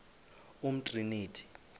umtriniti